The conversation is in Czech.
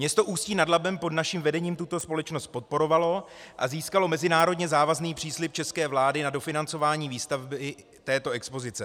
Město Ústí nad Labem pod naším vedením tuto společnost podporovalo a získalo mezinárodně závazný příslib české vlády na dofinancování výstavby této expozice.